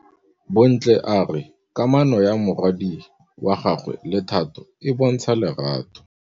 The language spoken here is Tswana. Bontle a re kamanô ya morwadi wa gagwe le Thato e bontsha lerato.